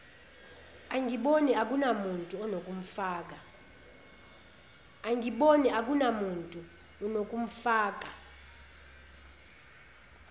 angiboni akunamuntu unokumfaka